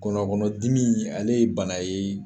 Ngɔnɔnkɔnɔdimi ale ye bana ye